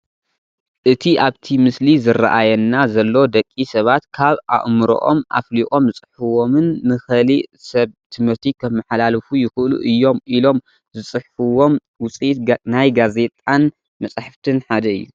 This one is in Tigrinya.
እቲ ኣብቲ ምስሊ ዝራኣየና ዘሎ ደቂ ሰባት ካብ ኣእምሮኦም ኣፍሊቆም ዝፅሕፍዎምን ንኸሊእ ሰብ ትምህርቲ ከመሓላልፉ ይኽእሉ እዮም ኢሎም ዝፅሕፍዎም ውፂኢት ናይ ጋዜጣን መፅሓፍትን ሓደ እዩ፡፡